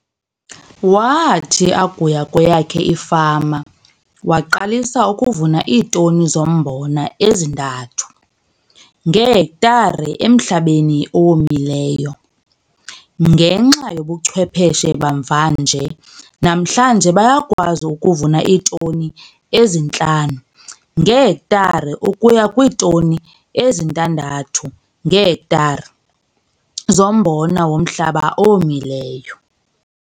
Wathi akuya kweyakhe ifama waqalisa ukuvuna iitoni zombona ezi-3 ngehektare emhlabeni owomileyo. Ngenxa yobuchwepheshe bamvanje namhlanje bayakwazi ukuvuna iitoni ezi-5 ngehektare ukuya kwiitoni ezi-6 ngehektare zombona womhlaba owomileyo.